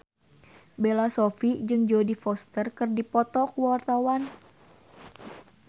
Bella Shofie jeung Jodie Foster keur dipoto ku wartawan